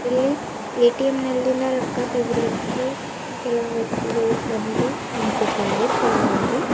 ಇಲ್ಲಿ ಎ_ಟಿ_ಎಂ ನಲ್ಲಿನ ರೊಕ್ಕ ತೆಗಿಲಿಕ್ಕೆ ಕೆಲವು ವ್ಯಕ್ತಿಗಳು ಬಂದಿ ನಿಂತಿದ್ದಾರೆ ಸಾಲಾಗಿ.